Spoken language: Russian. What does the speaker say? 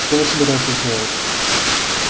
что вы собираетесь делать